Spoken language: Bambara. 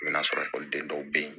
I bɛ n'a sɔrɔ ekɔliden dɔw bɛ yen